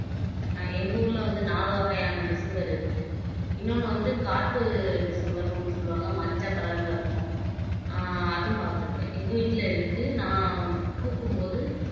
எங்க ஊர்ல வந்து நாலு வகையான டிசம்பர் இருக்கு இன்னொண்ணு வந்து காட்டு டிசம்பர்ன்னு ஒண்ணு சொல்லுவாங்க மஞ்ச color ல இருக்கும் ஆஹ் அஹும் பாத்திருக்கேன் எங்க வீட்டுல இருக்கு நான் பூக்கும் போது